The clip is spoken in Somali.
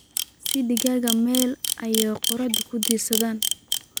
Sii digaagga meel ay qorraxda ku diirsadaan.